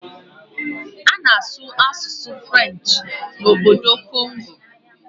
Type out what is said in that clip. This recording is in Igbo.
A na-asụ asụsụ Frenchị n'obodo Kongo